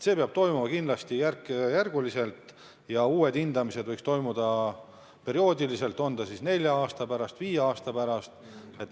See peab toimuma kindlasti järk-järgult, uued hindamised võiks toimuda perioodiliselt, olgu siis nelja aasta pärast või viie aasta pärast.